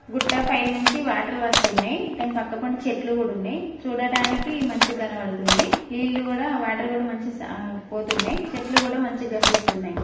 గుట్టపై నుంచి వాటర్ వస్తున్నాయ్. దాని పక్క పొంటి చెట్లు కూడా ఉన్నాయి చూడడానికి మంచి గనపడుతుంది. నీళ్లు కూడా వాటర్ కూడా మంచి స పోతున్నాయి. చెట్లు కూడా మంచి గనిపిస్తున్నాయ్.